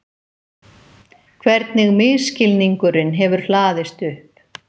Hvernig misskilningurinn hefur hlaðist upp.